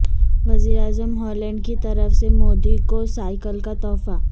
وزیر اعظم ہالینڈ کی طرف سے مودی کو سائیکل کا تحفہ